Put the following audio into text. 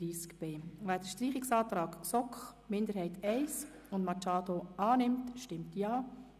Wer den Streichungsantrag GSoK-Minderheit I und Machado annimmt, stimmt Ja.